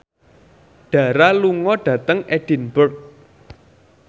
Dara lunga dhateng Edinburgh